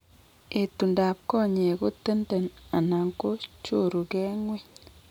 Etundab konyek ko tenden anan ko choruke ng'weny